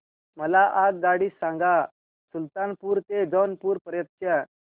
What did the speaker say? मला आगगाडी सांगा सुलतानपूर ते जौनपुर पर्यंत च्या